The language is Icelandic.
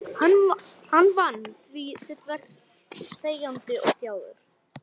Hann vann því sitt verk þegjandi og þjáður.